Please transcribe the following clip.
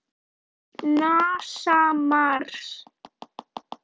NASA- Mars.